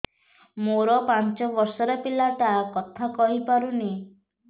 ମୋର ପାଞ୍ଚ ଵର୍ଷ ର ପିଲା ଟା କଥା କହି ପାରୁନି